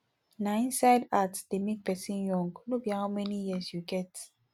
na inside heart dey make person young no be how many years you get